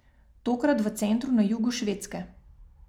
Tokrat v centru na jugu Švedske.